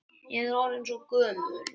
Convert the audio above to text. Ég er orðin svo gömul.